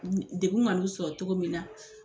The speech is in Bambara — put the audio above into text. Degun ka n'u sɔrɔ cogo min na.